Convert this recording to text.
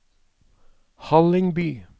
Hallingby